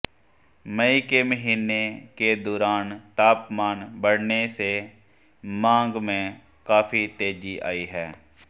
मई के महीने के दौरान तापमान बढऩे से मांग में काफी तेजी आई है